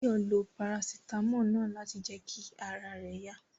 Báyọ̀ lo Parasítámọ̀ náà láti jẹ kí ara rẹ̀ yá